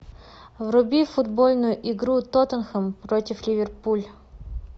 вруби футбольную игру тоттенхэм против ливерпуль